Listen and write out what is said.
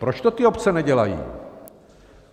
Proč to ty obce nedělají?